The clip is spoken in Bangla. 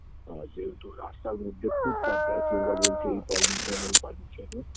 আ যেহেতু রাস্তার মধ্যে footpath দেয় কেউরা বলছে এই permission ঐ permission -এর